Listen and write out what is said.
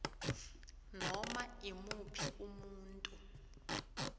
noma imuphi umuntu